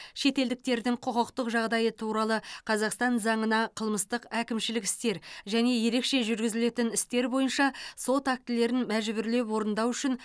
шетелдіктердің құқықтық жағдайы туралы қазақстан заңына қылмыстық әкімшілік істер және ерекше жүргізілетін істер бойынша сот актілерін мәжбүрлеп орындау үшін